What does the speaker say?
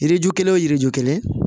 Yiriju kelen o yiriju kelen